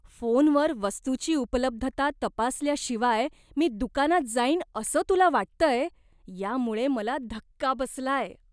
फोनवर वस्तूची उपलब्धता तपासल्याशिवाय मी दुकानात जाईन असं तुला वाटतंय, यामुळे मला धक्का बसलाय.